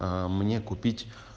а мне купить